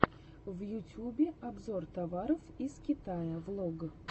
на ютюбе обзор товаров из китая влог